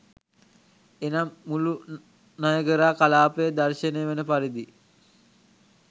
එනම් මුළු නයගරා කලාපය දර්ශනය වන පරිදි